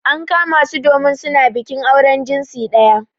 An kama su domin su na bikin auren jinsi daya.